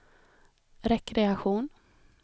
rekreation